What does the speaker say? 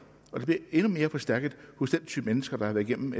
og det bliver endnu mere forstærket hos den type mennesker der har været igennem